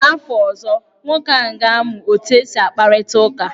N'afọ ọzọ, nwoke ahụ ga-amụ otu esi akparịta ụka.